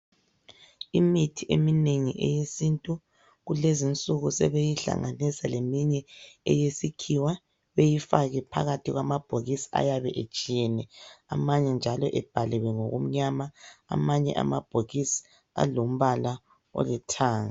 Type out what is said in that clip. Imithi eminengi eyesintu kulezinsuku sebeyihlanganisa leminye eyesikhiwa beyifake phakathi kwamabhokisi ayabe etshiyene amanye njalo ebhaliwe ngokumnyama amanye amabhokisi alombala olithanga.